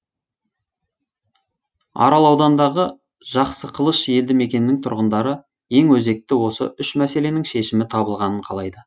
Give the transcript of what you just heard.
арал ауданындағы жақсықылыш елді мекенінің тұрғындары ең өзекті осы үш мәселенің шешімі табылғанын қалайды